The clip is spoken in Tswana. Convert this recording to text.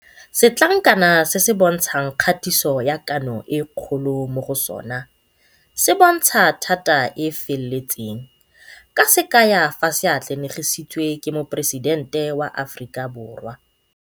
Setlankana se se bontshang kgatiso ya Kano e Kgolo mo go sona se bontsha thata e e feletseng ka se kaya fa se atlanegisitswe ke Moporesidente wa Aforika Borwa.